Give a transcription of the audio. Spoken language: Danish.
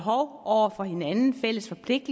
ikke